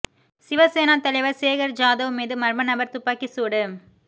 சிவசேனா தலைவர் சேகர் ஜாதவ் மீது மர்ம நபர் துப்பாக்கி சூடு